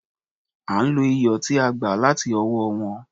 À ń lo iyọ̀ tí a gbà láti ọwọ́ wọn.